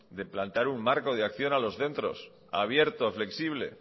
de plantear un marco de acción a los centros abierto flexible